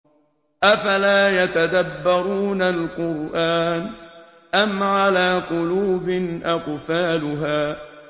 أَفَلَا يَتَدَبَّرُونَ الْقُرْآنَ أَمْ عَلَىٰ قُلُوبٍ أَقْفَالُهَا